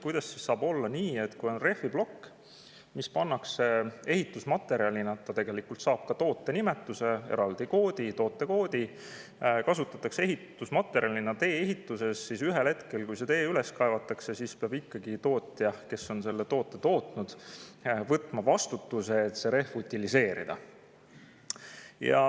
Kuidas saab olla nii, et rehviploki puhul, mida kasutatakse ehitusmaterjalina tee-ehituses ja mis saab ka tootenimetuse, eraldi koodi, tootekoodi, peab tootja, kes on selle toote tootnud, ühel hetkel, kui see tee üles kaevatakse, ikkagi võtma vastutuse, et see rehv utiliseerida.